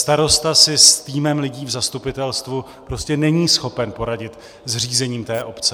Starosta si s týmem lidí v zastupitelstvu prostě není schopen poradit s řízením té obce.